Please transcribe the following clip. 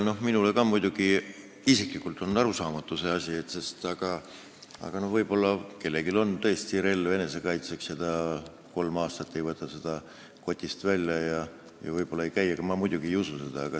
Minule isiklikult on ka see asi muidugi arusaamatu, aga võib-olla kellelgi on tõesti relv enesekaitseks ja ta kolm aastat ei võta seda kotist välja, kuigi ma muidugi ei usu seda.